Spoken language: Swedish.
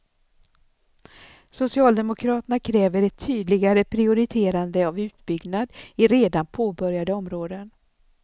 Socialdemokraterna kräver ett tydligare prioriterande av utbyggnad i redan påbörjade områden.